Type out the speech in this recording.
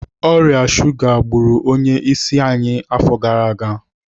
Ọrịa shuga gburu onye isi anyị afọ gara aga.